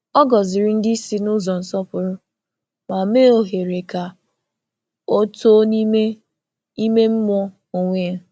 Ọ gọ̀zìrì ndị isi n’ụzọ nsọpụrụ, ma mee ohere ka ọ too n’ime ime mmụọ onwe ya.